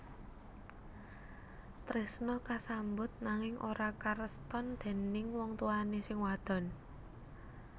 Tresna kasambut nanging ora kareston déning wong tuwané sing wadon